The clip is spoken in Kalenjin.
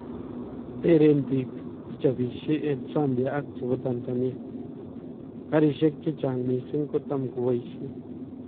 "Tereen biik chechapisie en Zambia ak chebo Tanzania, karisiek chechang missing kotam ko baisien "